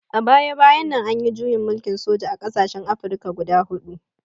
A baya-bayan nan an yi juyin mulkin soja a ƙasashen Afirka guda huɗu.